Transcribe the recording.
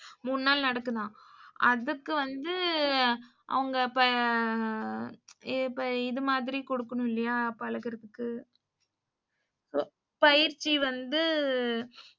மூணுநாள் நடக்குதாம் அதுக்கு வந்து அவங்க இப்ப அ இப்ப இது மாதிரி குடுக்கணும் இல்லையா பழகுறதுக்கு பயிற்சி வந்து,